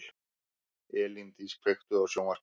Elíndís, kveiktu á sjónvarpinu.